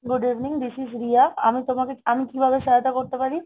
Good evening, this is riya আমি তোমাকে আমি কিভাবে সহায়তা করতে পারি?